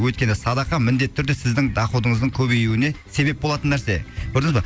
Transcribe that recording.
өйткені садақа міндетті түрде сіздің доходыңыздың көбеюіне себеп болатын нәрсе көрдіңіз ба